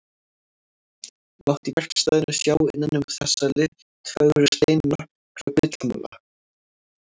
Mátti í verkstæðinu sjá innan um þessa litfögru steina nokkra gullmola.